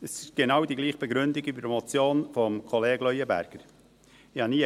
Das ist genau die gleiche Begründung wie bei der Motion von Kollege Leuenberger .